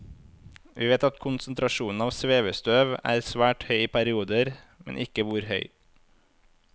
Vi vet at konsentrasjonene av svevestøv er svært høy i perioder, men ikke hvor høy.